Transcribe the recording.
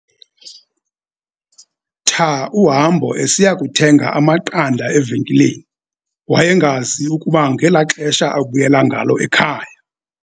tha uhambo esiya kuthenga amaqanda evenkileni, wayengazi ukuba ngelaxesha abuyela ngalo ekhaya